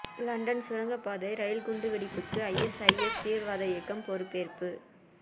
London சுரங்கப்பாதை ரயில் குண்டு வெடிப்புக்கு ஐஎஸ்ஐஎஸ் தீவிரவாத இயக்கம் பொறுப்பேற்பு